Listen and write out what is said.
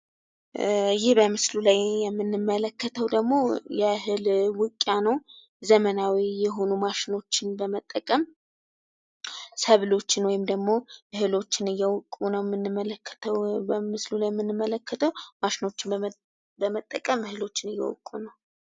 ይህ በምስሉ ላይ የምንመለከተው ደግሞ የእህል ውቂያ ነው። ዘመናዊ የሆኑ ማሽኖችን በመጠቀም ሰብሎችን ወይም ደሞ እህሎችን እየወቁ ነው የምንመለከተው በምስሉ ላይ የምንመለከተው ማሽኖችን በመጠቀም እህሎችን እየወቁ ነው።